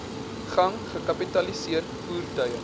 gang gekapitaliseer voertuie